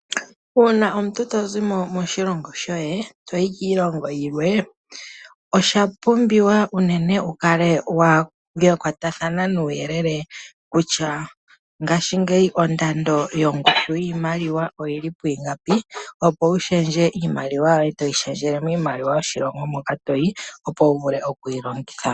Uuna omuntu to zimo moshilongo shoye, to yi kiilongo yilwe, osha pumbiwa unene wu kale wa kwatathana nuuyelele kutya ngashingeyi ondando, yiimaliwa oyi li pwiingapi opo wu shendje iimaliwa yoye, to yi shendjele miimaliwa yo mo shilongo moka to yi, opo wu vule oku yi longitha.